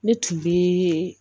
Ne tun bɛ